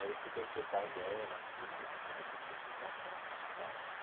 Aí eu fui conhecer o pai dela, tudo, comecei a frequentar a casa dos pais.